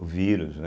O vírus, né?